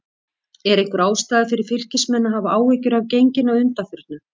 Er einhver ástæða fyrir Fylkismenn að hafa áhyggjur af genginu að undanförnu?